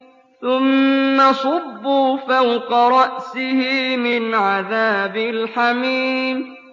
ثُمَّ صُبُّوا فَوْقَ رَأْسِهِ مِنْ عَذَابِ الْحَمِيمِ